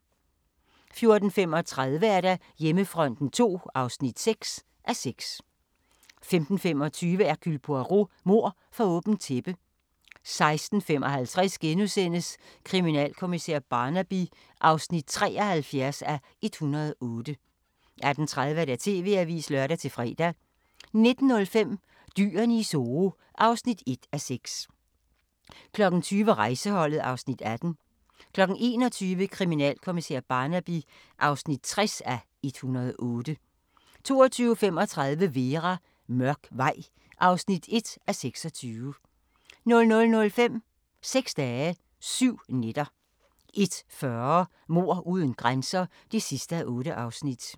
14:35: Hjemmefronten II (6:6) 15:25: Hercule Poirot: Mord for åbent tæppe 16:55: Kriminalkommissær Barnaby (73:108)* 18:30: TV-avisen (lør-fre) 19:05: Dyrene i Zoo (1:6) 20:00: Rejseholdet (Afs. 18) 21:00: Kriminalkommissær Barnaby (60:108) 22:35: Vera: Mørk vej (1:26) 00:05: Seks dage, syv nætter 01:40: Mord uden grænser (8:8)